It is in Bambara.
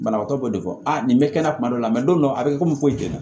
Banabagatɔ b'o de fɔ a nin bɛ kɛ na kuma dɔ la don a bɛ komi ko jɛn